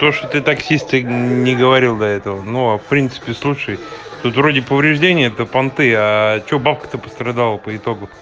то что ты таксист ты не говорил до этого но в принципе слушай тут вроде повреждение это понты а что бабка то пострадала по итогу